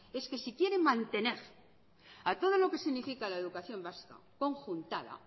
es que si quiere mantener a todo lo que significa la educación vasca conjuntada